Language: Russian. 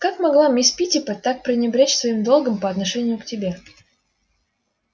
как могла мисс питтипэт так пренебречь своим долгом по отношению к тебе